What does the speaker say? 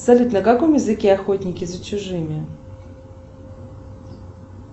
салют на каком языке охотники за чужими